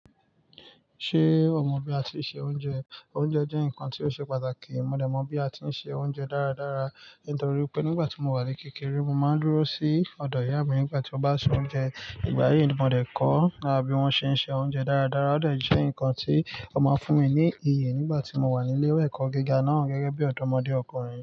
Ṣé o mọ bí a tíì se oúnjẹ? Oúnjẹ jẹ́ nǹkan tí ó ṣe pàtàkì. Mò dẹ̀ mọ̀ bí a ti ń se oúnjẹ dáradára nítorí pé nígbà tí mo wà ní kékeré, mo máa ń dúró sí ọ̀dọ̀ ìyá mi nígbà tí mó bá se oúnjẹ. Ìgbà yìí ni mò dẹ̀ kọ́ bí wón ṣe ń se oúnjẹ dáradára. Ó de jẹ́ ǹkan tí ó máa ń fún mi ní iyè nígbà tí mo wà ní ilé ẹ̀kọ́ gíga náà gẹ́gẹ́ bí ọ̀dọ́mọdé ọkùnrin.